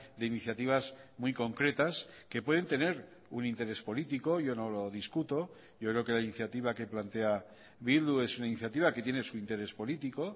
de iniciativas muy concretas que pueden tener un interés político yo no lo discuto yo creo que la iniciativa que plantea bildu es una iniciativa que tiene su interés político